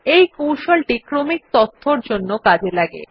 এই কৌশলটি ক্রমিক তথ্যর জন্য কাজ করে